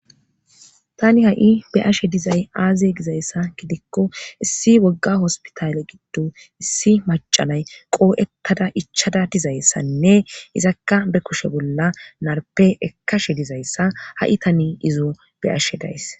tani ha7i be'ashe dizay aaziye gizayssa gidikko issi wogga hospitaale giddo issi macanay qoo7ettada ichada dizayssanne izakka be kushe bolla narpe ekkashe dizayssa ha7i tani izo be'ashe days